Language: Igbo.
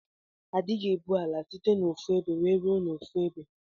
Adighi ebu ala site na ofu ebe wee rue na ofuebe.